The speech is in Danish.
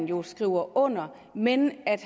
jo skriver under men at